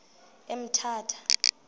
emthatha